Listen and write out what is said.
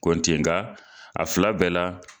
Kontigiga a fila bɛɛ la